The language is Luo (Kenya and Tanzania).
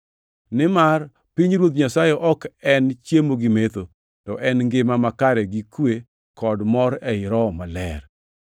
Nimar pinyruodh Nyasaye ok en chiemo gi metho, to en ngima makare gi kwe kod mor ei Roho Maler,